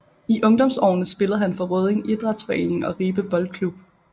I ungdomsårene spillede han for Rødding Idrætsforening og Ribe Boldklub